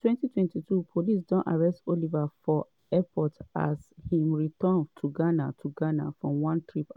in 2022 police don arrest oliver for airport as im return to ghana to ghana from one trip abroad.